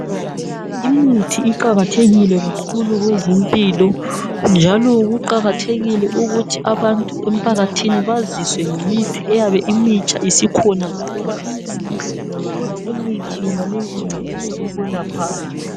Imithi iqakathekile kakhulu kwezempilo njalo kuqakathekile ukuthi abantu emphakathini baziswe ngemithi eyabe imitsha isikhona njalo baziswe ukuthi imithi yonaleyo incedisa ukwelaphani.